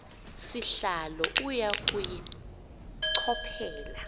sihlalo uya kuyichophela